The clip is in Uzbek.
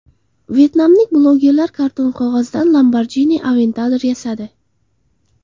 Vyetnamlik blogerlar karton qog‘ozdan Lamborghini Aventador yasadi.